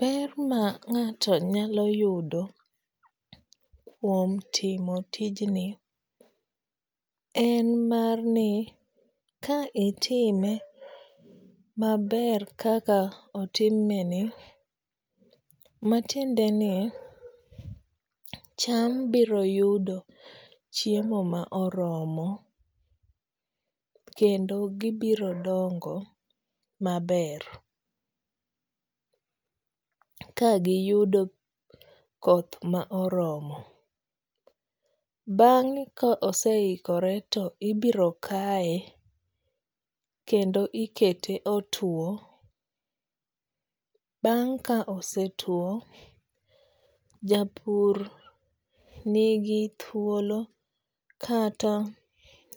Ber ma ng'ato nyalo yudo kuom timo tijni en mar ni ka itimo maber kaka otimeni matiendeni cham biro yudo chiemo ma oromo kendo gibiro dongo maber. Kagiyudo koth ma oromo bang'e ka ose ikor to ibiro kaye kendo ikete otuo. Bang' ka osetuo, japur nigi thuolo kata